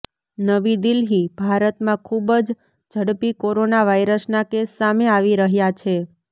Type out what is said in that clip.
નવી દિલ્હીઃ ભારતમાં ખૂબ જ ઝડપી કોરોના વાયરસના કેસ સામે આવી રહ્યા છે